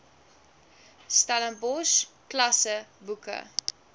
stellenbosch klasse boeke